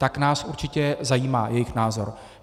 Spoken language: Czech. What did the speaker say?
Tak nás určitě zajímá jejich názor.